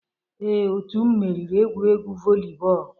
Ee, otu m meriri egwuregwu volleyball